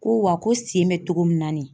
Ko wa ko sen bɛ cogo min na nin ye